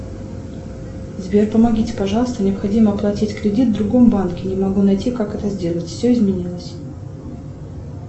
сбер помогите пожалуйста необходимо оплатить кредит в другом банке не могу найти как это сделать все изменилось